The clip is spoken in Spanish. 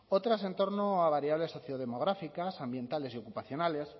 otras en torno a variables sociodemográficas ambientales ocupacionales